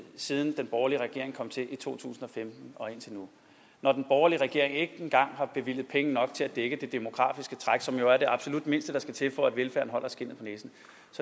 siden den borgerlige regering kom til i to tusind og femten og indtil nu og når den borgerlige regering ikke engang har bevilget penge nok til at dække det demografiske træk som er det absolut mindste der skal til for at velfærden holder skindet på næsen